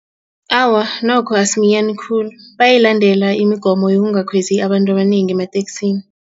Awa, nokho asiminyani khulu bayayilandela imigomo yokungakhwezi abantu abanengi emateksini.